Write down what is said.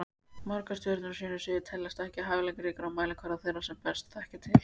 Margir stjörnur á sínu sviði teljast ekki hæfileikaríkar á mælikvarða þeirra sem best þekkja til.